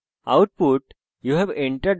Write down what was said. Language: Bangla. output